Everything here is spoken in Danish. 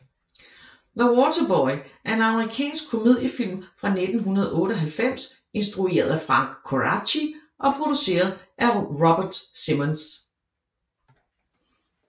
The Waterboy er en amerikansk komediefilm fra 1998 instrueret af Frank Coraci og produceret af Robert Simonds